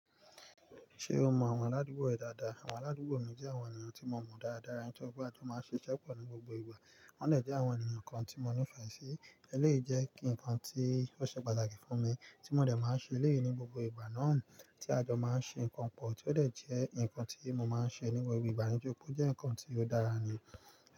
Ṣé o mọ àwọn aládùúgbò rẹ dáadáa? Àwọn aládùúgbò mi jẹ́ àwọn ènìyàn tí mo mọ dáadáa, nitori pe a jo máa ń ṣiṣẹ́ pọ̀ ní gbogbo ìgbà. Wọ́n jẹ́ àwọn ènìyàn kan tí mo nífẹ̀ẹ́ sí. Èlé jẹ́ kí ǹkan tí ó ṣe pàtàkì fún mi, tí mo dẹ̀ máa ń ṣe elẹ́yii ní gbogbo ìgbà náà tí a jọ máa ń ṣe ǹkan pọ̀, tí ó lè jẹ́ ǹkan tí mo máa ń ṣe ni gbogbo igba nitori pé ó jẹ́ ǹkan tí ó dára ni.